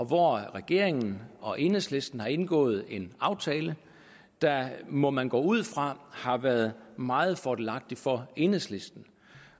hvor regeringen og enhedslisten har indgået en aftale der må man gå ud fra har været meget fordelagtig for enhedslisten